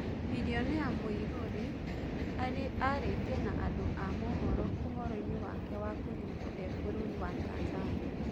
Birionea Mũirũri arĩtie na andu a mũhoro ũhoroine wake wakũnyitwo e bũrũri wa Tanzania